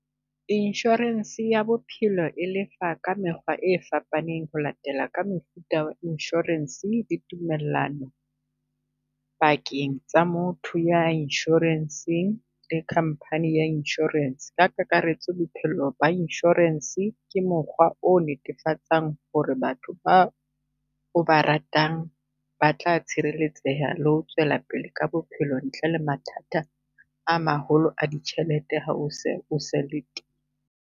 Insurance ya bophelo e lefa ka mekgwa e fapaneng ho latela ka mefuta ya insurance le tumellano, pakeng tsa motho ya insurance-ng le company ya insurance. Ka kakaretso, bophelo ba insurance ke mokgwa o netefatsang ho re batho ba o ba ratang ba tla tshireletseha le ho tswela pele ka bophelo ntle le mathata a maholo a ditjhelete ha o se o sa le .